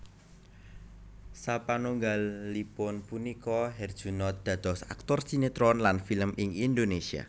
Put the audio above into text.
Sapanunggalipun punika Herjunot dados aktor sinetron lan film ing Indonesia